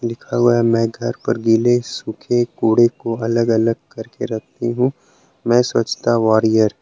लिखा हुआ है मैं घर पर गीले सूखे कूड़े को अलग अलग करके रखती हूँ मैं स्वच्छता वॉरियर